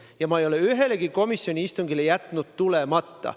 Ja ma ei ole ühelegi komisjoni istungile jätnud tulemata.